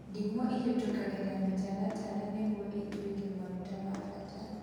Ndimũ ĩhũtũkagĩra mũtaratara nĩguo ĩtuĩke maguta ma bata